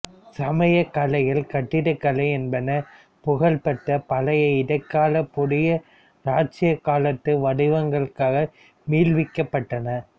சமயம் கலைகள் கட்டிடக்கலை என்பன புகழ் பெற்ற பழைய இடைக்கால புதிய இராச்சியக் காலத்து வடிவங்களுக்கு மீள்விக்கப்பட்டன